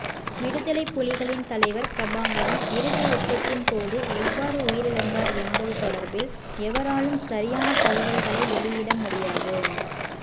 விடுதலைப் புலிகளின் தலைவர் பிரபாகரன் இறுதியுத்தத்தின் போது எவ்வாறு உயிரிழந்தார் என்பது தொடர்பில் எவராலும் சரியான தகவல்களை வெளியிட முடியாது